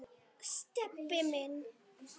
Stebbi minn.